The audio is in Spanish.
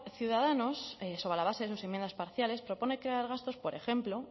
ciudadanos sobre la base de sus enmiendas parciales propone crear gastos por ejemplo